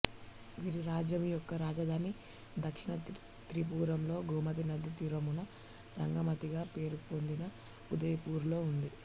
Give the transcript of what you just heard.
వీరి రాజ్యము యొక్క రాజధాని దక్షిణ త్రిపురలో గోమతీ నది తీరమున రంగమతిగా పేరుపొందిన ఉదయపూర్ లో ఉంది